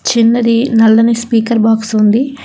చిన్నది నల్లని speaker box ఉంది.